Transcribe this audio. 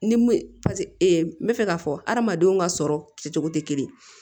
Ni paseke n bɛ fɛ k'a fɔ hadamadenw ka sɔrɔ kɛcogo tɛ kelen ye